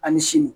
Ali sini